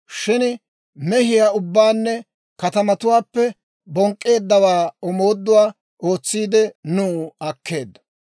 Shin mehiyaa ubbaanne katamatuwaappe bonk'k'eedda omooduwaa ootsiide, nuw akkeeddo.